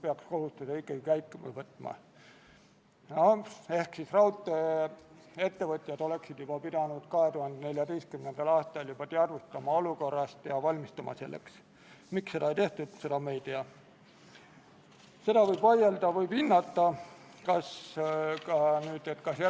Oli konsensus, et eelnõu esitatakse teiseks lugemiseks Riigikogu täiskogu päevakorda tänaseks, ja lisaks otsustati konsensuslikult, et Riigikogule tehakse ettepanek eelnõu teine lugemine lõpetada ning Riigikogu kodu- ja töökorra seaduse §-le 109 tuginedes panna eelnõu lõpphääletusele.